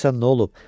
Görəsən nə olub?